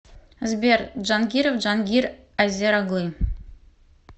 сбер джангиров джангир азер оглы